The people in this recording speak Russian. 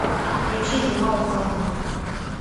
включи зима уходи